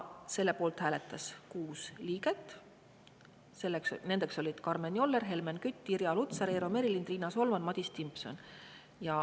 Selle poolt hääletas 6 liiget, nendeks olid Karmen Joller, Helmen Kütt, Irja Lutsar, Eero Merilind, Riina Solman ja Madis Timpson.